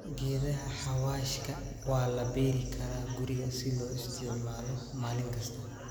Geedaha xawaashka waa la beeri karaa guriga si loo isticmaalo maalin kasta.